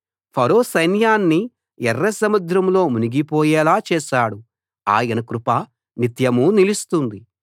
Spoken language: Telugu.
ఫరో సైన్యాన్ని ఎర్రసముద్రంలో మునిగిపోయేలా చేశాడు ఆయన కృప నిత్యమూ నిలుస్తుంది